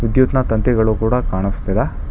ವಿದ್ಯುತ್ ನ ತಂತಿಗಳು ಕೂಡ ಕಾನಸ್ತಿದೆ.